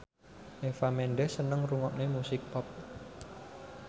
Eva Mendes seneng ngrungokne musik pop